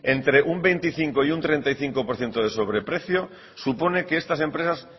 entre un veinticinco por ciento y un treinta y cinco por ciento de sobreprecio supone que estas empresas